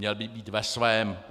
Měl by být ve svém.